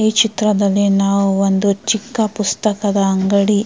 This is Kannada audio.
ಈ ಚಿತ್ರದಲ್ಲಿ ನಾವು ಒಂದು ಚಿಕ್ಕ ಪುಸ್ತಕದ ಅಂಗಡಿ--